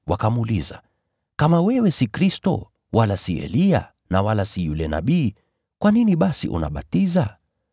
wakamuuliza, “Kama wewe si Kristo, wala si Eliya na wala si yule Nabii, kwa nini basi unabatiza?”